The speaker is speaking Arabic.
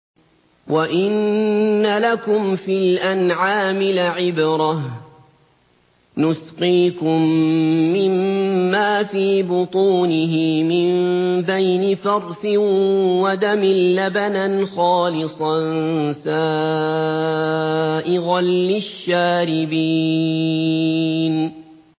وَإِنَّ لَكُمْ فِي الْأَنْعَامِ لَعِبْرَةً ۖ نُّسْقِيكُم مِّمَّا فِي بُطُونِهِ مِن بَيْنِ فَرْثٍ وَدَمٍ لَّبَنًا خَالِصًا سَائِغًا لِّلشَّارِبِينَ